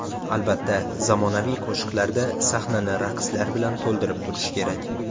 Albatta, zamonaviy qo‘shiqlarda sahnani raqslar bilan to‘ldirib turish kerak.